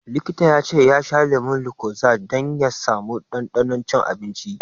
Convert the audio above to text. Likita ya ce ya sha lemun lucozade dan ya sa mu ɗanɗanon cin abinci.